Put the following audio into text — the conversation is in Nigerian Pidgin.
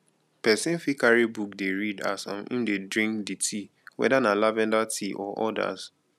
person fit carry book dey read as um im dey drink di tea weda na lavender tea or odas